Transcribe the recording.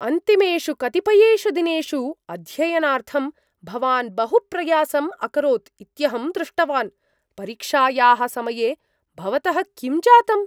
अन्तिमेषु कतिपयेषु दिनेषु अध्ययनार्थं भवान् बहु प्रयासम् अकरोत् इत्यहं दृष्टवान्। परीक्षायाः समये भवतः किं जातम्?